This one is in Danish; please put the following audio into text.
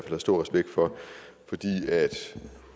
har stor respekt for fordi